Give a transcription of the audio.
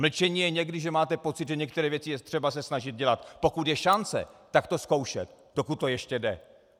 Mlčení je někdy, že máte pocit, že některé věci je třeba se snažit dělat, pokud je šance, tak to zkoušet, dokud to ještě jde.